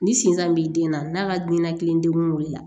Ni sin san b'i den na n'a ka diinɛ kelengun wuli la